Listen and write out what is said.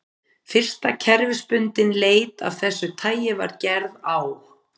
Fyrsta kerfisbundin leit af þessu tagi var gerð á